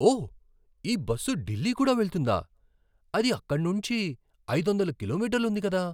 ఓ! ఈ బస్సు ఢిల్లీ కూడా వెళ్తుందా? అది అక్కడి నుంచి ఐదొందల కిలోమీటర్లు ఉంది కదా?